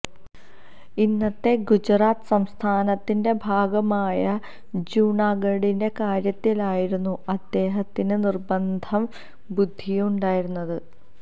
ഇന്നത്തെ ഗുജറാത്ത് സംസ്ഥാനത്തിന്റെ ഭാഗമായ ജുനാഗഢിന്റെ കാര്യത്തിലായിരുന്നു അദ്ദേഹത്തിന് നിർബന്ധ ബുദ്ധിയുണ്ടായിരുന്നത്